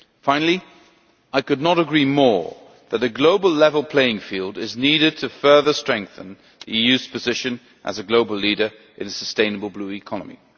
Finally, I could not agree more that a global level playing field is needed to further strengthen the EU's position as a global leader in a sustainable Blue Economy.